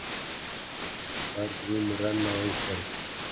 Tvær grímur renna á einhvern